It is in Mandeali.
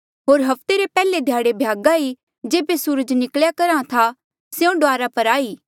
होर हफ्ते रे पैहले ध्याड़े भ्यागा ई जेबे सूरज निकल्या करहा था स्यों डुआरा पर आई